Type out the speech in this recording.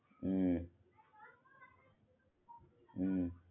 હમ્મ